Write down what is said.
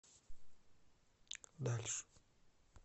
дальше